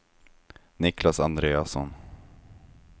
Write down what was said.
Niclas Andreasson